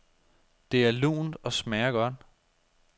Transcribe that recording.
Det er lunt og smager godt.